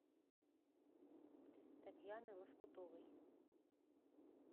татьяны лоскутовой